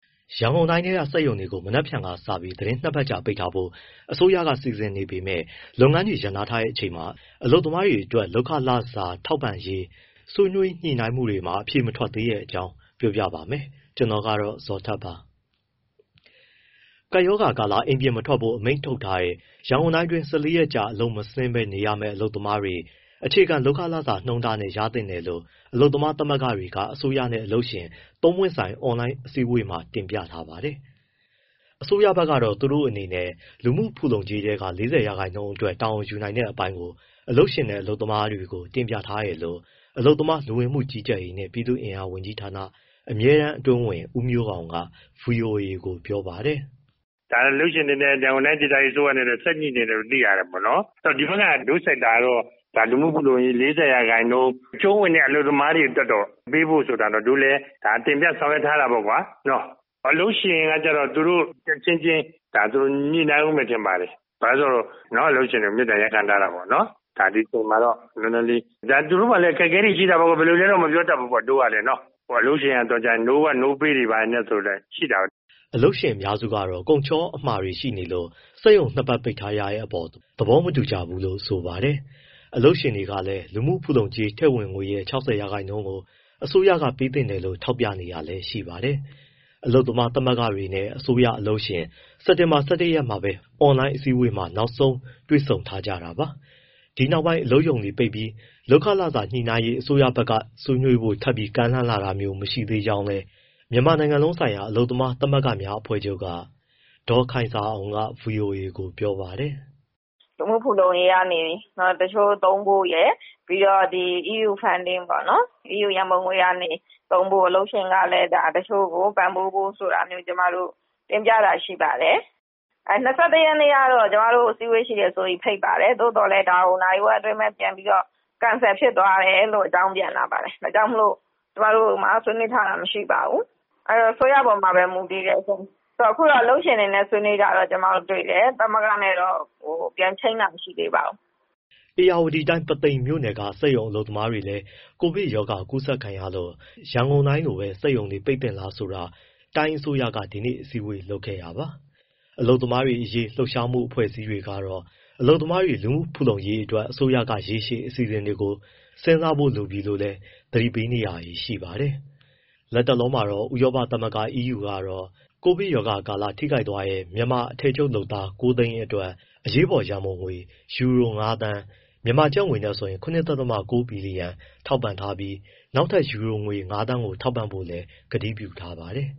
ရန်ကုန်တိုင်းက စက်ရုံတွေကို မနက်ဖြန်ကစပြီး သီတင်း ၂ ပတ်ကြာ ပိတ်ထားမယ်ဖို့ အစိုးရက စီစဉ်ထားပေမဲ့ လုပ်ငန်းတွေ ရပ်နားထားချိန်မှာ အလုပ်သမားတွေရဲ့ လစာကို ဘယ်လိုပေးမလဲဆိုတဲ့ ညှိနှိုင်းမှုတွေ အဖြေမထွက်သေးတဲ့အကြောင်း ပြောပြမှာပါ။ ဗွီအိုအေမြန်မာပိုင်းသတင်းထောက် ကိုဇော်ထက်ကပြောပြပေးပါမယ်။ ၁၄ရက် တာကာလ အလုပ်မဆင်းပဲနေရမဲ့ အလုပ်သမားတွေ အခြေခံလုပ်ခလစာနှုန်းတားနဲ့ ရင်သင့်တယ်လို့ အလုပ်သမားသမဂ္ဂတွေက အစိုးရနဲ့ အလုပ်ရှင်တွေနဲ့ သုံးပွင့်ဆိုင် အွန်လိုင်းအစည်းအဝေးမှာ တင်ပြခဲ့တာပါ။ အစိုးရဘက်ကတော့ သူတို့အနေနဲ့ လူမှုဖူလုံကြေးထဲက ၄၀ ရာခိုင်နှုန်းအတွက် တာဝန်ယူနိုင်တဲ့အပိုင်းကို အလုပ်ရှင်နဲ့ အလုပ်သမားတွေကို တင်ပြထားတယ်လို့ အလုပ်သမား၊ လူဝင်မှုကြီးကြပ်ရေးနှင့် ပြည်သူ့အင်အား ဝန်ကြီးဌာန အမြဲတမ်းအတွင်းဝန် ဦးမျိုးအောင်က ဗွီအိုအေကို ပြောပါတယ်။ “ဒါတော့ အလုပ်ရှင်နဲ့ ရန်ကုန်တိုင်းအစိုးရ ဆက်ညှိနေတယ်လို့ သိရတယ်၊ ဒီဘက်က တို့ sector ကတော့ လူမှုဖူလုံကြေး ၄၀ ရာခိုင်နှုန်း အကျုံးဝင်တဲ့ အလုပ်သမားတွေအတွက်တော့ ပေးဖို့ဆိုတာကတော့တို့လည်း တင်ပြ၊ ဆောင်ရွက်ထားတာပေါ့ကွာ။ အလုပ်ရှင်ကတော့ သူတို့အချင်းချင်း ညှိနှိုင်းဦးမယ် ထင်ပါတယ်။ အလုပ်ရှင်တွေကို မေတ္တာရပ်ခံထားတာပေါ့၊ ဒီအချိန်မှာတော့ နည်းနည်းလေး၊ ဒါ သူတို့မှာလည်း အခက်အခဲတွေရှိတာပေါ့ ဘယ်လိုလဲတော့ မပြောတတ်ပေါ့ တို့ကလည်း။ အလုပ်ရှင်က no work, no pay တွေလည်း ရှိတာပဲ။” အလုပ်ရှင်အများစုကတော့ ကုန်ချောအမှာတွေ ရှိနေလို့ စက်ရုံ ၂ ပတ် ပိတ်ထားရတဲ့အပေါ်သဘောမတူကြပါဘူးလို့ ဆိုပါတယ်။ အလုပ်ရှင်တွေကလည်း လူမှုဖူလုံကြေးထည့်ဝင်ငွေရဲ့ ၆၀ ရာခိုင်နှုန်းကို အစိုးရက ပေးသင့်တယ်လို့ ထောက်ပြနေတာလည်း ရှိပါတယ်။ အလုပ်သမားသမဂ္ဂတွေနဲ့ အစိုးရ၊ အလုပ်ရှင် စက်တင်ဘာ ၁၁ ရက်မှာပဲ အွန်လိုင်းအစည်းအဝေးမှာ နောက်ဆုံးတွေ့ဆုံထားကြတာပါ။ ဒီနောက်ပိုင်း အလုပ်ရုံတွေပိတ်ပြီး လုပ်ခလစာညှိနှိုင်းရေး အစိုးရဘက်က ဆွေးနွေးဖို့ထပ်ကမ်းလှမ်းလာတာမျိုး မရှိသေးသေးကြောင်း မြန်မာနိုင်ငံလုံးဆိုင်ရာ အလုပ်သမားသမဂ္ဂများအဖွဲ့ချုပ်က ဒေါ်ခိုင်ဇာအောင်က ဗွီအိုအေကို ပြောပါတယ်။ “လူမှုဖူလုံရေးကနေ တချို့သုံးဖို့ရယ် ပြီးတော့ EU funding ပေါ့နော်။ အီးယူရန်ပုံငွေကနေ သုံးဖို့၊ အလုပ်ရှင်ကလည်း တချို့ကို ပံ့ပိုးဖို့ဆိုတာတွေ ကျမတို့ တင်ပြတာရှိပါတယ်။ ၂၁ ရက်ကတော့ ကျမတို့ကို အစည်းအဝေးရှိတယ်ဆိုပြီး ဖိတ်ပါတယ်။ သို့သော်ဒါကို နာရီဝက်အတွင်းပဲ ပြန်ပြီးတော့ cancel ဖြစ်သွားတယ်ဆိုပြီး အကြောင်းပြန်လာပါတယ်၊ ဒါကြောင့်မို့ ကျမတို့မှာ ဆွေးနွေးထားတာ မရှိပါဘူး၊ အဲဒီတော့ အစိုးရအပေါ်မှာပဲ မူတည်တယ်ရှင့်။ အခုတော့ အလုပ်ရှင်တွေနဲ့ ဆွေးနွေးတာတော့ ကျမတို့တွေ့တယ်၊ သမဂ္ဂနဲ့တော့ ပြန်ချိန်းတာ မရှိသေးပါဘူး။” ဧရာဝတီတိုင်း ပုသိမ်မြို့နယ်က စက်ရုံအလုပ်သမားတွေလည်း ကိုဗစ်ရောဂါကူးစက်ခံရလို့ ရန်ကုန်တိုင်းလိုပဲ စက်ရုံတွေ ပိတ်သင့်လားဆိုတာ တိုင်းအစိုးရက ဒီနေ့ အစည်းအဝေးလုပ်ခဲ့တာပါ။ အလုပ်သမားရေး လှုပ်ရှားမှု အဖွဲ့အစည်းတွေကတော့ အလုပ်သမားတွေ လူမှုဖူလုံရေးအတွက် အစိုးရက ရေရှည်အစီအစဉ်တွေကို စဉ်းစားဖို့ လိုအပ်နေပြီလို့လည်း သတိပေးနေကြပါတယ်။ လတ်တလောမှာတော့ ဥရောပသမဂ္ဂ EU ကတော့ ကိုဗစ်ကပ်ရောဂါကာလ ထိခိုက်သွားတဲ့ မြန်မာ အထည်ချုပ်လုပ်သား ၉၀၀,၀၀၀ အတွက် အရေးပေါ်ရန်ပုံငွေ ယူရို ၅,၀၀၀,၀၀၀ (ကျပ်ငွေ ၇.၉ ဘီလီယံ) ထောက်ပံ့ထားပြီး နောက်ထပ် ယူရို ၅,၀၀၀,၀၀၀ ပေးဖို့လည်း ကတိပြုထားပါတယ်